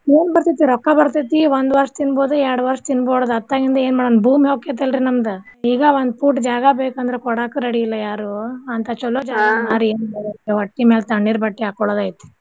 ಏನ್ ಬರ್ತೇತಿ ರೊಕ್ಕಾ ಬರ್ತೇತಿ ಒಂದ್ ವರ್ಷ್ ತೀನ್ಬೋದು ಎರ್ಡ್ ವರ್ಷ್ ತೀನ್ಬೋದು ಅತ್ತಾಗಿಂದ ಏನ್ ಮಾಡೊನ್ ಭೂಮಿ ಹೋಕ್ಕೆತಲ್ರೀ ನಮ್ದ ಈಗ ಒಂದ್ foot ಜಾಗ ಬೇಕಂದ್ರ ಕೋಡಾಕ್ ready ಇಲ್ಲ ಯಾರು ಅಂತ ಚೊಲೋ ಜಾಗ ಮಾರಿ ಹೊಟ್ಟಿ ಮ್ಯಾಗ್ ತಣ್ಣೀರ್ ಬಟ್ಟಿ ಹಕ್ಕೋಳೋದ ಐತಿ.